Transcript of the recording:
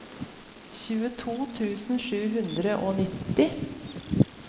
tjueto tusen sju hundre og nitti